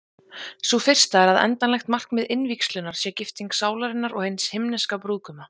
Sú fyrsta er að endanlegt markmið innvígslunnar sé gifting sálarinnar og hins Himneska brúðguma.